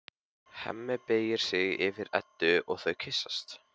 Hemmi beygir sig yfir Eddu og þau kyssast.